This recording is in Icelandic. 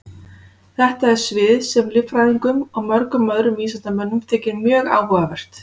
Þetta er svið sem líffræðingum og mörgum öðrum vísindamönnum þykir mjög áhugavert.